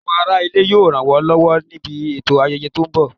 Àwọn ará ilé yóò ràn wá lọ́wọ́ níbi ètò ayẹyẹ tó ń bọ̀